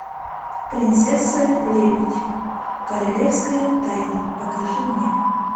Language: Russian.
принцесса лебедь королевская тайна покажи мне